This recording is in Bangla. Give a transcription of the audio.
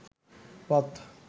পথ